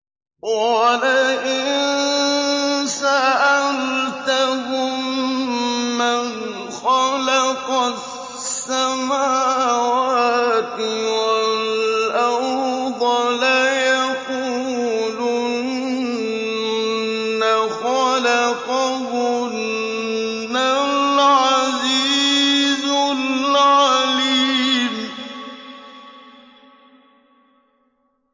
وَلَئِن سَأَلْتَهُم مَّنْ خَلَقَ السَّمَاوَاتِ وَالْأَرْضَ لَيَقُولُنَّ خَلَقَهُنَّ الْعَزِيزُ الْعَلِيمُ